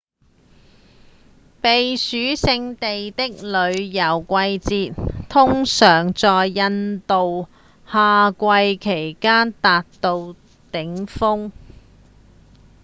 避暑勝地的旅遊季節通常在印度的夏季期間達到頂峰